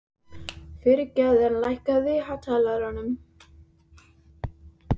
Friðgerður, lækkaðu í hátalaranum.